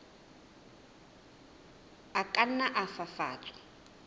a ka nna a fafatswa